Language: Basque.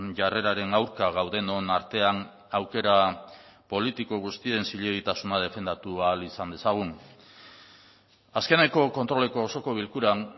jarreraren aurka gaudenon artean aukera politiko guztien zilegitasuna defendatu ahal izan dezagun azkeneko kontroleko osoko bilkuran